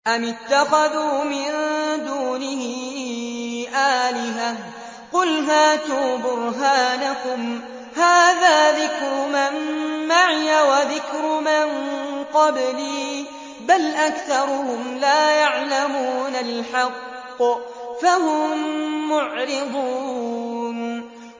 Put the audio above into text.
أَمِ اتَّخَذُوا مِن دُونِهِ آلِهَةً ۖ قُلْ هَاتُوا بُرْهَانَكُمْ ۖ هَٰذَا ذِكْرُ مَن مَّعِيَ وَذِكْرُ مَن قَبْلِي ۗ بَلْ أَكْثَرُهُمْ لَا يَعْلَمُونَ الْحَقَّ ۖ فَهُم مُّعْرِضُونَ